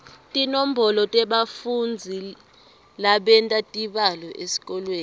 tinombolo tebafundzi labenta tibalo etikolweni